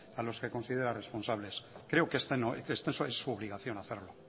a los que considera responsables creo que está en su obligación hacerlo